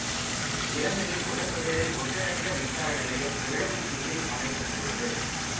இலங்கையில் முதன் முதலில் ஒன்றினைந்த மின்சார நிலையம் எழுவை தீவில் அமைக்கப்பட்டுள்ளது